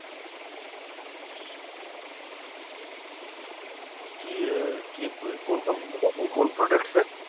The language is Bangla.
কি আহ কি কোন কোম্পানিতে আছেন? কোন products এ?